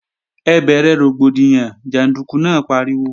Ẹ bẹ̀rẹ̀ rògbòdìyàn, jàndúkú náà pariwo!